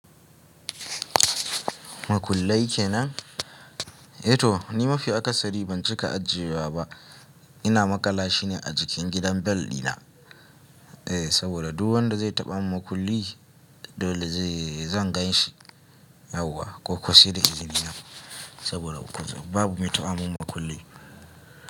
Makullai kenan? E to ni mafi aka sari ban cika ajiye wa ba. Ina maƙala shi ne a jikin gidan bel dina. Eh saboda duk wanda zai taɓa mun makulli dole zan gan shi. Yauwa ko ko sai da izini na saboda babu me taɓa mun makulli.